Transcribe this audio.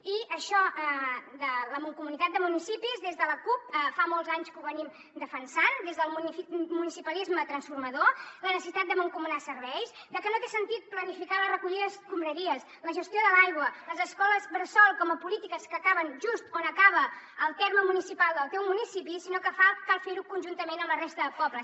i això de la mancomunitat de municipis des de la cup fa molts anys que ho venim defensant des del municipalisme transformador la necessitat de mancomunar serveis que no té sentit planificar la recollida d’escombraries la gestió de l’aigua les escoles bressol com a polítiques que acaben just on acaba el terme municipal del teu municipi sinó que cal fer ho conjuntament amb la resta de pobles